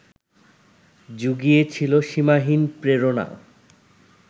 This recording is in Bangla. জুগিয়েছিল সীমাহীন প্রেরণা